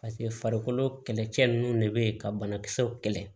Paseke farikolo kɛlɛcɛ ninnu de bɛ yen ka banakisɛw kɛlɛ